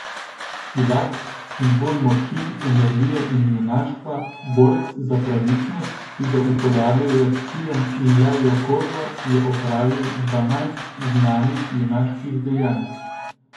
Silak, simbol moči, energije in junaštva, borec za pravičnost, ki ga upodabljajo s kijem in levjo kožo, je opravil dvanajst znanih junaških dejanj.